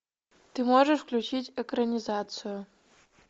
ты можешь включить экранизацию